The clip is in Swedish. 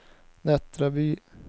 Nättraby